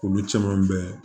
Olu caman bɛ